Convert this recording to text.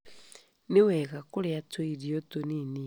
Nĩ wega kũrĩa tũirio tũnini maita maingĩ.